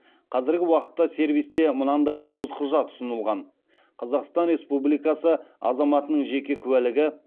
қазіргі уақытта сервисте мынандай тоғыз құжат ұсынылған қазақстан республикасы азаматының жеке куәлігі